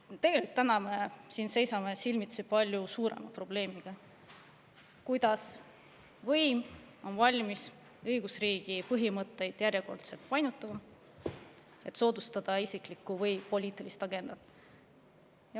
Tegelikult me seisame täna siin silmitsi palju suurema probleemiga: võim on valmis õigusriigi põhimõtteid järjekordselt painutama, et soodustada isiklikku või poliitilist agendat.